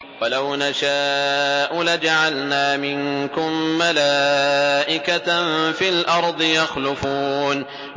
وَلَوْ نَشَاءُ لَجَعَلْنَا مِنكُم مَّلَائِكَةً فِي الْأَرْضِ يَخْلُفُونَ